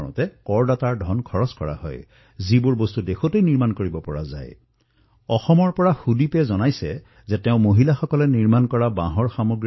অসমৰ সুদ্বীপে মোলৈ লিখিছে যে তেওঁ মহিলাসকলে প্ৰস্তুত কৰা থলুৱা বাঁহৰ সামগ্ৰীৰ ব্যৱসায় কৰে আৰু তেওঁ সিদ্ধান্ত গ্ৰহণ কৰিছে যে আগন্তুক দুটা বছৰৰ ভিতৰত বাঁহৰ সামগ্ৰীক তেওঁ বিশ্বজনীন ব্ৰেণ্ডলৈ প্ৰস্তুত কৰিব